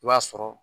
I b'a sɔrɔ